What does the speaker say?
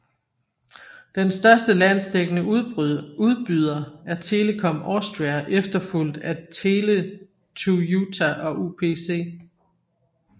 Den største landsdækkende udbyder er Telekom Austria efterfulgt af Tele2UTA og UPC